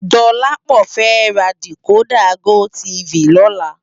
Dolapo fè rá dikódà gótìfí lòlá